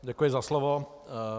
Děkuji za slovo.